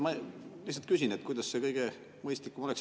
Ma lihtsalt küsin, kuidas kõige mõistlikum oleks.